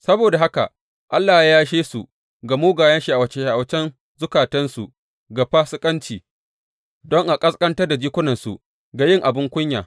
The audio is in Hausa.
Saboda haka Allah ya yashe su ga mugayen sha’awace sha’awacen zukatansu ga fasikanci don a ƙasƙantar da jikunansu ga yin abin kunya.